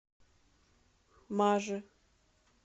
маже